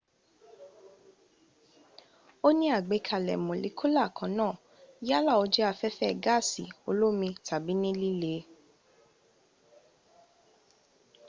o ní àgbẹkalẹ̀ mólíkuúlà kan náà yálà o jẹ aféfé gaasi olómi tàbí ní lìlẹ